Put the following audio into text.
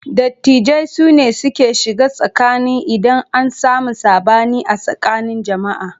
Dattijai sune suke shiga tsakani idan an sami saɓani a tsakanin jama'a.